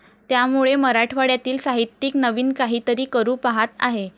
त्यामुळे मराठवाड्यातील साहित्यिक नवीन काहीतरी करू पाहत आहे,